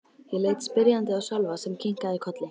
Ég leit spyrjandi á Sölva sem kinkaði kolli.